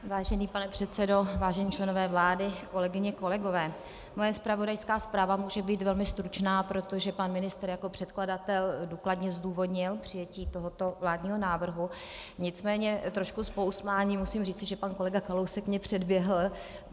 Vážený pane předsedo, vážení členové vlády, kolegyně, kolegové, moje zpravodajská zpráva může být velmi stručná, protože pan ministr jako předkladatel důkladně zdůvodnil přijetí tohoto vládního návrhu, nicméně trošku s pousmáním musím říci, že pan kolega Kalousek mě předběhl.